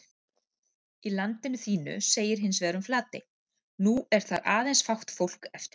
Í Landinu þínu segir hins vegar um Flatey: nú er þar aðeins fátt fólk eftir